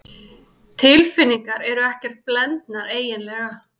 Tilfinningarnar eru ekkert blendnar eiginlega.